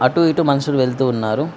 అటు ఇటు మనుషులు వెళ్తూ ఉన్నారు.